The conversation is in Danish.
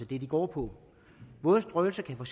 det de går på våd strøelse kan for